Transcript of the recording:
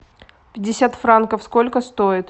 пятьдесят франков сколько стоит